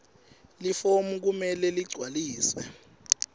lifomu kumele ligcwaliswe